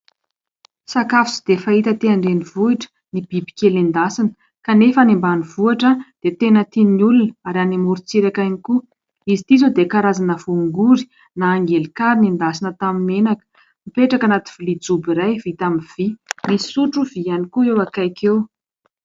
Sakafo tsy dia fahita aty andrenivohitra ny biby kely endasina kanefa ny any ambanivohitra dia tena tian'ny olona ary any amorontsiraka ihany koa. Izy ity izao dia karazana voangory na angelinkary nendasina tamin'ny menaka, mipetraka anaty vilia jôby iray vita amin'ny vy; misy sotro vy ihany koa eo akaiky eo.